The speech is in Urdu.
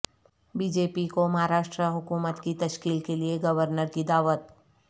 بی جے پی کو مہاراشٹرا حکومت کی تشکیل کیلئے گورنر کی دعوت